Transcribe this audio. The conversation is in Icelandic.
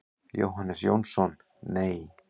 Jóhannes Jónsson: Nei.